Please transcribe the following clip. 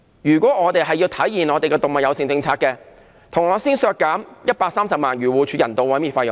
如果我們要體現動物友善政策，便先要削減130萬元漁護署的人道毀滅費用。